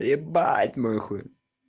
ебать мой хуй